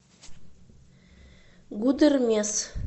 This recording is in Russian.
гудермес